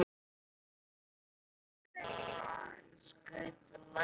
Tobbi, hefur þú prófað nýja leikinn?